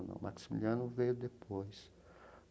O Maximiliano veio depois.